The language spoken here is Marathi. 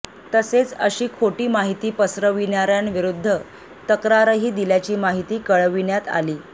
तसेच अशी खोटी माहिती पसरविणाऱ्यांविरूद्ध तक्रारही दिल्याची माहिती कळविण्यात आली